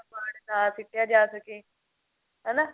ਕਬਾੜ ਨਾ ਸਿੱਟਿਆ ਜਾ ਸਕੇ ਹਨਾ